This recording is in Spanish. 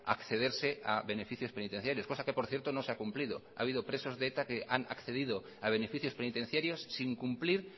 accederse a beneficios penitenciarios cosa que por cierto no se ha cumplido ha habido presos de eta que han accedido a beneficios penitenciarios sin cumplir